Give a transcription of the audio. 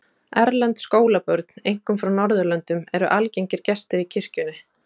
Erlend skólabörn, einkum frá Norðurlöndum, eru algengir gestir í kirkjunni.